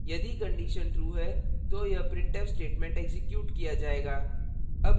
यदि condition true है तो यह printf statement एक्जीक्यूट किया जाएगा